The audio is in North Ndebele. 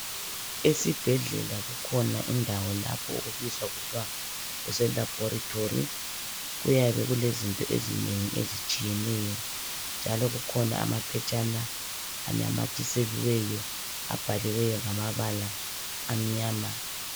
Esibhedlela kukhona indawo lapho ukubizwa kuthwa kuselabhoritori. Kuyabe kulezinto ezinengi ezitshiyeneyo, njalo kukhona amaphetshana anamathiseliweyo abhaliweyo ngamabala amnyama.